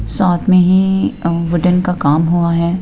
साथ में ही वुडेन का काम हुआ है।